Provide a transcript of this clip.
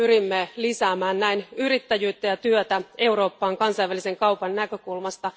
Pyrimme lisäämään näin yrittäjyyttä ja työtä Euroopassa kansainvälisen kaupan näkökulmasta.